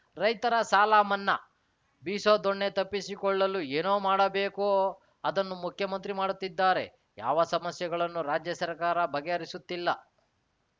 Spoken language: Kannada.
ರೈತರ ಸಾಲ ಮನ್ನಾ ಬೀಸೋ ದೊಣ್ಣೆ ತಪ್ಪಿಸಿಕೊಳ್ಳಲು ಏನು ಮಾಡಬೇಕೋ ಅದನ್ನು ಮುಖ್ಯಮಂತ್ರಿ ಮಾಡುತ್ತಿದ್ದಾರೆ ಯಾವ ಸಮಸ್ಯೆಗಳನ್ನು ರಾಜ್ಯ ಸರ್ಕಾರ ಬಗೆಹರಿಸುತ್ತಿಲ್ಲ